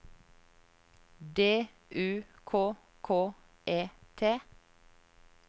D U K K E T